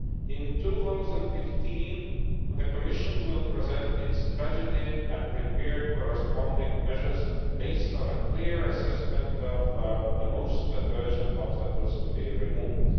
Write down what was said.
In 2015 the Commission will present its strategy and prepare corresponding measures based on a clear assessment of the most urgent obstacles to be removed.